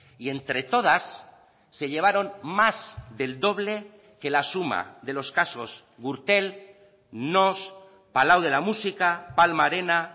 y entre todas se llevaron más del doble que la suma de los casos gürtel noós palau de la música palma arena